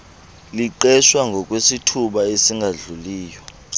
liqeshwa ngokwesithuba esingadluliyo